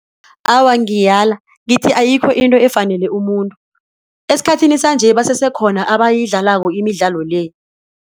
Awa, ngiyala ngithi ayikho into efanele umuntu esikhathini sanje basese khona abayidlalako imidlalo le.